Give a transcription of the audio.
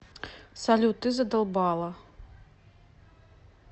салют ты задолбала